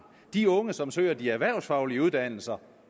de unge som søger de erhvervsfaglige uddannelser